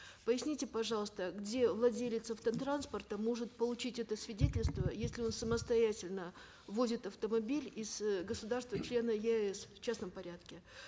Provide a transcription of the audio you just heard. поясните пожалуйста где владелец автотранспорта может получить это свидетельство если он самостоятельно ввозит автомобиль из э государства члена еаэс в частном порядке